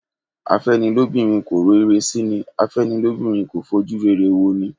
Afẹ́nilóbìnrin kò ro ire sí ni./ Afẹ́nilóbìnrin kò fojú rere wo ni